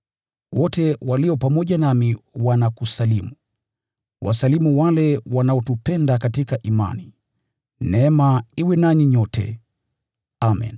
Wote walio pamoja nami wanakusalimu. Wasalimu wale wanaotupenda katika imani. Neema iwe nanyi nyote. Amen.